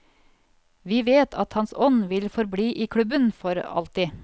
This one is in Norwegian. Vi vet at hans ånd vil forbli i klubben for alltid.